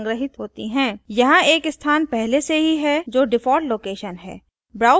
यहाँ एक स्थान पहले से ही है जो default location है